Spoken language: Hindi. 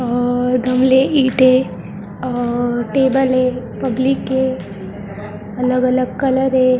और गमले ईंटे और टेबल है पब्लिक के अलग- अलग कलर है ।